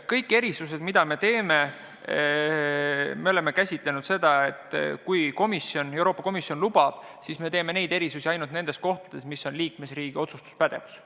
Kõik erisused, mis me teeme – oleme lähenenud nii, et kui Euroopa Komisjon lubab, siis me mõned erisused teeme, aga jah ainult selles osas, kus on liikmesriigi otsustuspädevus.